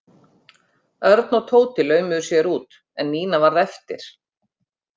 Örn og Tóti laumuðu sér út en Nína varð eftir.